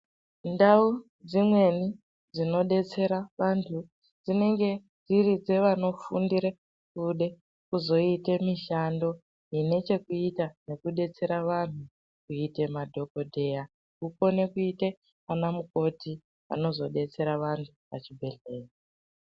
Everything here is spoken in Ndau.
Ndau dzimweni dzinodetsera vantu dzinenge dziri dzevanofundira anode kuzoita mishando ine chekuita nekudetsera vantu kuita madhokodheya. Unokona kuita anamukoti vanozodetsera vantu pachibhendhleya.